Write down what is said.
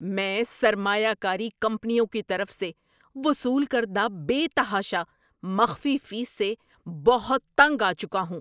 میں سرمایہ کاری کمپنیوں کی طرف سے وصول کردہ بے تحاشا مخفی فیس سے بہت تنگ آ چکا ہوں۔